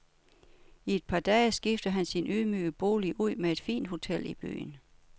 I et par dage skifter han sin ydmyge bolig ud med et fint hotel i byen.